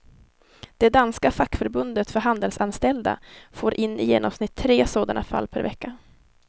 Det danska fackförbundet för handelsanställda får in i genomsnitt tre sådana fall per vecka.